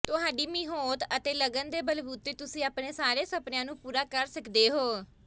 ਤੁਹਾਡੀ ਮਿਹੋਤ ਅਤੇ ਲਗਨ ਦੇ ਬਲਬੂਤੇ ਤੁਸੀ ਆਪਣੇ ਸਾਰੇ ਸਪਣੀਆਂ ਨੂੰ ਪੂਰਾ ਕਰ ਸੱਕਦੇ ਹੋ